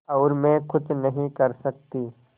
और मैं कुछ नहीं कर सकती